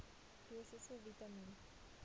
dosisse vitamien